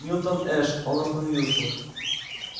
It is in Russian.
милтон эш он остановился